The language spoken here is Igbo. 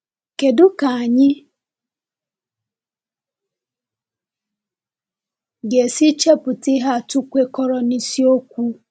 Kédú ka anyị ga-esi chepụta ihe atụ kwekọrọ na isiokwu?